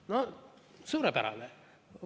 No suurepärane!